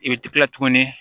I bɛ tila tuguni